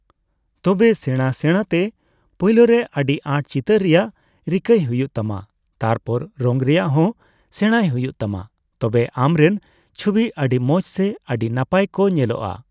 ᱛᱚᱵᱮ ᱥᱮᱸᱲᱟ ᱥᱮᱸᱲᱟᱛᱮ, ᱯᱳᱭᱞᱳ ᱨᱮ ᱟᱹᱰᱤ ᱟᱸᱴ ᱪᱤᱛᱟᱹᱨ ᱨᱮᱭᱟᱜ ᱨᱤᱠᱟᱹᱭ ᱦᱩᱭᱩᱜ ᱛᱟᱢᱟ ᱛᱟᱨᱯᱚᱨ ᱨᱚᱝ ᱨᱮᱭᱟᱜ ᱦᱚᱸ ᱥᱮᱸᱲᱟᱭ ᱦᱩᱭᱩᱜ ᱛᱟᱢᱟ᱾ ᱛᱚᱵᱮ ᱟᱢᱨᱮᱱ ᱪᱷᱩᱵᱤ ᱟᱹᱰᱤ ᱢᱚᱸᱡᱽ ᱥᱮ ᱟᱹᱰᱤ ᱱᱟᱯᱟᱭ ᱠᱚ ᱧᱮᱞᱚᱜᱼᱟ ᱾